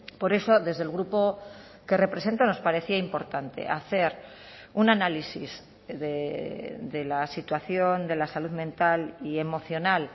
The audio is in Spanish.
por eso desde el grupo que represento nos parecía importante hacer un análisis de la situación de la salud mental y emocional